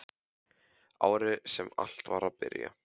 Árið sem allt var að byrja.